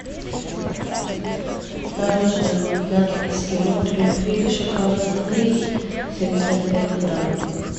мороженое магнат эскимо трюфель шоколадный семьдесят пять грамм